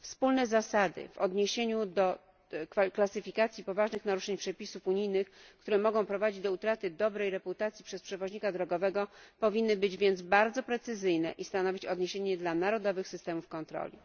Wspólne zasady klasyfikacji poważnych naruszeń przepisów unijnych, które mogą prowadzić do utraty dobrej reputacji przez przewoźnika drogowego, powinny być więc bardzo precyzyjne i stanowić odniesienie dla narodowych systemów kontroli.